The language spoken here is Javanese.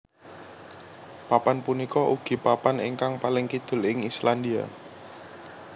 Papan punika ugi papan ingkang paling kidul ing Islandia